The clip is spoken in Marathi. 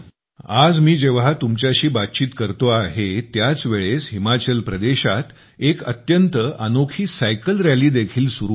आज मी जेव्हा तुमच्याशी बातचीत करतो आहे त्याचवेळेस हिमाचल प्रदेशात एक अत्यंत अनोखी सायकल रॅली देखील सुरु आहे